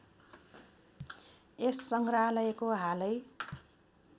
यस सङ्ग्रहालयको हालै